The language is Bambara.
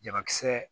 Jabakisɛ